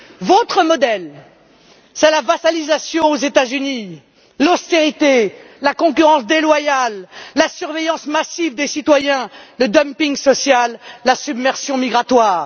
Votre modèle, c'est la vassalisation aux États Unis, l'austérité, la concurrence déloyale, la surveillance massive des citoyens, le dumping social, la submersion migratoire.